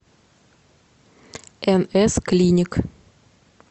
нс клиник